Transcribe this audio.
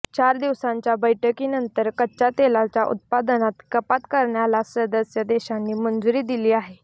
चार दिवसांच्या बैठकीनंतर कच्च्या तेलाच्या उत्पादनात कपात करण्याला सदस्य देशांनी मंजुरी दिली आहे